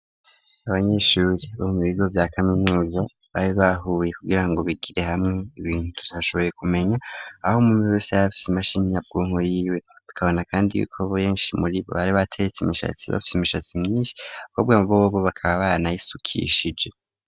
Abanyeshuri bo mu bigo vya kaminuza, bari bahuye, kugirango bigire hamwe ibintu tutashoboye kumenya, aho umwumwe wese yarafise imashini nyabwonko yiwe, tukabona kandi yuko benshi muri bo bateretse imishatsi, bafise imishatsi myinshi kugwego yuko bakaba baranayisukishije.